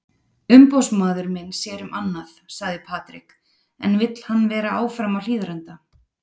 Umboðsmaður minn sér um annað, sagði Patrick en vill hann vera áfram á Hlíðarenda?